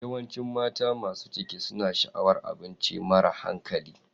Yawancin mata masu ciki suna sha'awar abinci mara hankali.